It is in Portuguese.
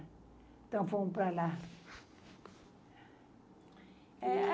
Então, fomos para lá. Eh